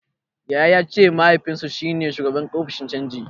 Yaya ya ce mahaifinsu shi ne shugaban ofishin canji.